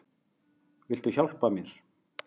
Viltu hjálpa mér?